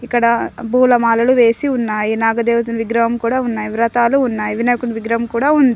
ఇక్కడ పూల మాలలు వేసి ఉన్నాయి నాగదేవతని విగ్రహం కూడా ఉన్నాయ్ వ్రతాలు ఉన్నాయ్ వినాయకుని విగ్రహం కూడా ఉంది.